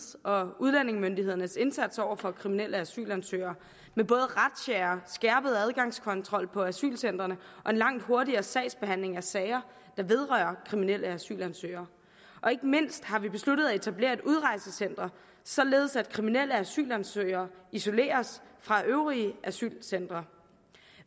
og udlændingemyndighedernes indsats over for kriminelle asylansøgere med både razziaer skærpet adgangskontrol på asylcentrene og langt hurtigere sagsbehandling af sager der vedrører kriminelle asylansøgere og ikke mindst har vi besluttet at etablere et udrejsecenter således at kriminelle asylansøgere isoleres fra fra de øvrige asylcentre